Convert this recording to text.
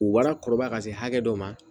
U wala kɔrɔbaya ka se hakɛ dɔ ma